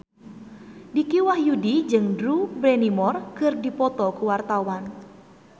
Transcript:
Dicky Wahyudi jeung Drew Barrymore keur dipoto ku wartawan